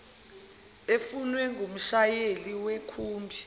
efunwe ngumshayeli wekhumbi